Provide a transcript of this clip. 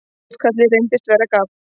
Útkallið reyndist vera gabb.